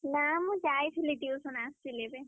ନା ମୁଁ ଯାଇଥିଲି tuition ଆସିଲି ଏବେ।